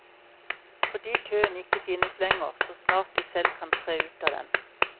Fordi køen ikke finnes lenger, så snart de selv kan tre ut av den.